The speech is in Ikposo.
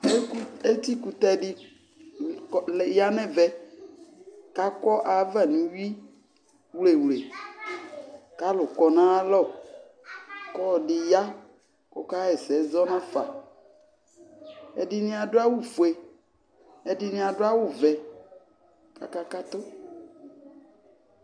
Beku, Etikutɛ de ya nɛvɛ ka kɔ ava no uwiwlewle ka alu kɔ nalɔ ko ɔde ya kɔka yɛsɛ zɔ nafa Ɛdene ado awufue Ɛdene ado awuvɛ ka aka kato